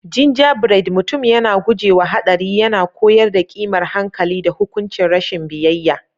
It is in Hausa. Gingerbread Mutum yana guje wa haɗari yana koyar da ƙimar hankali da hukuncin rashin biyayya.